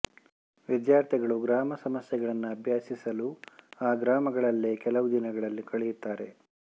ವಿದ್ಯಾರ್ಥಿಗಳು ಗ್ರಾಮ ಸಮಸ್ಯೆಗಳನ್ನು ಅಭ್ಯಸಿಸಲು ಆ ಗ್ರಾಮಗಳಲ್ಲೆ ಕೆಲವು ದಿನಗಳನ್ನು ಕಳೆಯುತ್ತಾರೆ